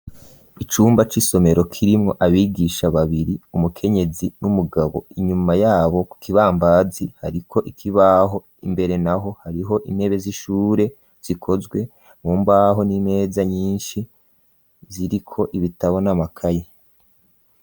Icumba c'isomero kirimwo abigisha babiri umukenyezi n'umugabo inyuma yabo k kibambazi hariko ikibaho imbere naho hariho intebe z'ishure zikozwe mu mbaho n'imeza nyinshi ziriko ibitabona makaye.